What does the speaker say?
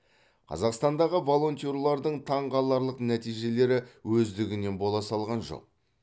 қазақстандағы волонтерлердің таңғаларлық нәтижелері өздігінен бола салған жоқ